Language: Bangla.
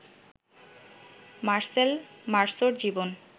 মার্সেল মার্সোর জীবন